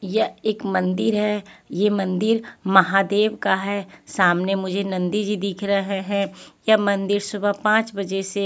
यह एक मंदिर है ये मंदिर महादेव का है सामने मुझे नंदी जी दिख रहे हैं यह मंदिर सुबह पांच बजे से--